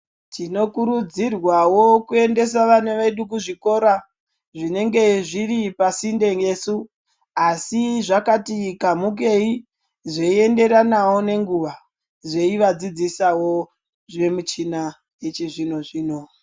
Tinokurudzirwawo kuendesa vana vedu kuzvikora, zvinenge zviri pasinde nesu asi zvakati kamhukei zveienderana ngenguwa zveivadzidzisawo zvemichina yechizvino-zvino.